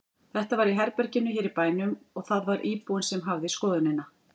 Þetta var í herbergi hér í bænum og það var íbúinn sem hafði skoðunina.